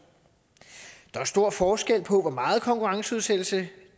der er stor forskel på hvor meget konkurrenceudsættelse